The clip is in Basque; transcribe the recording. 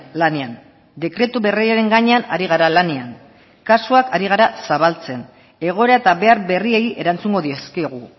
lanean dekretu berriaren gainean ari gara lanean kasuak ari gara zabaltzen egoera eta behar berriei erantzungo dizkigu